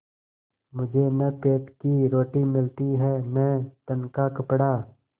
मुझे न पेट की रोटी मिलती है न तन का कपड़ा